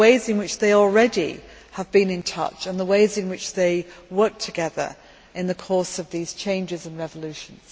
These are the ways in which they already have been in touch and the ways in which they work together in the course of changes and revolutions.